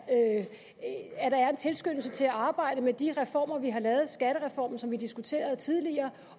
en tilskyndelse til at arbejde med de reformer vi har lavet der er skattereformen som vi diskuterede tidligere